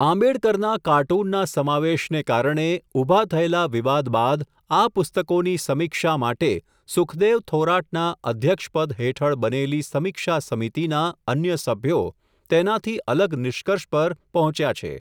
આંબેડકરના, કાર્ટૂનના સમાવેશને કારણે, ઊભા થયેલા વિવાદ બાદ, આ પુસ્તકોની સમીક્ષા માટે, સુખદેવ થોરાટના, અધ્યક્ષપદ હેઠળ બનેલી સમીક્ષા સમિતિના, અન્ય સભ્યો, તેનાથી અલગ નિષ્કર્ષ પર, પહોંચ્યા છે.